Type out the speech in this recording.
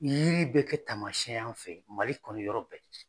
Yiri bɛ kɛ taamasiyɛn ye anw fɛ Mali kɔnɔ yɔrɔ bɛɛ.